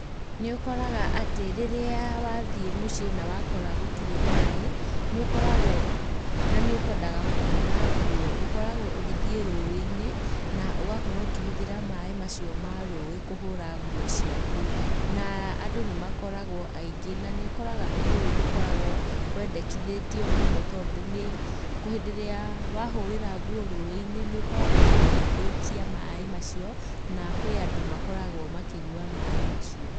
Nĩ ũkoraga atĩ, rĩrĩa wathiĩ mũciĩ na wakora gũtirĩ maĩ, nĩ ũkoragwo, na nĩ ũkwendaga kũhũra nguo, ũkoragwo ũgĩthiĩ rũĩ-inĩ, na ũgakorwo ũkĩhũthĩra maĩ macio ma rũĩ kũhũra nguo ciaku, na andũ nĩ makoragwo aingĩ, na nĩ ũkoraga ũndũ ũyũ ndũkaragwo wendekithĩtio mũno, tondũ nĩ, hĩndĩ ĩrĩa wahũrĩra nguo rũĩ-inĩ, nĩ ũkoragwo ũgĩthũkia maĩ macio, na kwĩ andũ makoragwo makĩnyua maĩ macio.